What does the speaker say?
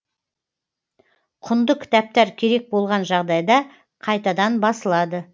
құнды кітаптар керек болған жағдайда қайтадан басылады